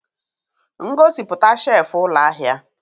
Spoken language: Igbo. Ngosipụta shelf ụlọ ahịa.